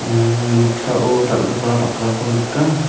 im im noksao dal·gipa bakrako nika.